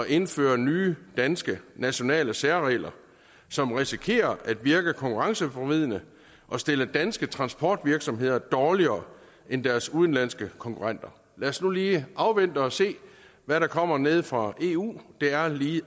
indføre nye danske nationale særregler som risikerer at virke konkurrenceforvridende og stille danske transportvirksomheder dårligere end deres udenlandske konkurrenter lad os nu lige afvente og se hvad der kommer nede fra eu det er lige